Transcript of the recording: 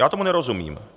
Já tomu nerozumím.